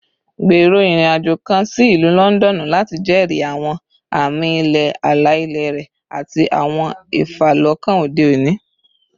Gbero irin-ajo kan si Ilu Lọndọnu lati jẹri awọn ami-ilẹ ala-ilẹ rẹ ati awọn ifalọkan ode oni